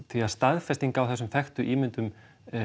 því að staðfesting á þessum þekktu ímyndum